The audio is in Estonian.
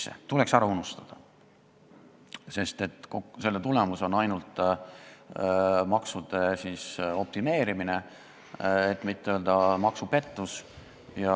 See tuleks ära unustada, sest selle tulemus on ainult maksude optimeerimine, et mitte öelda maksupettus.